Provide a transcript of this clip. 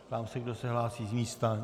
Ptám se, kdo se hlásí z místa.